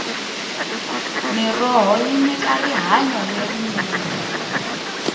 mirhoho yi nyika rihanyo lerinene